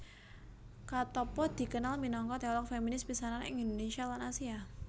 Katoppo dikenal minangka teolog feminis pisanan ing Indonesia lan Asia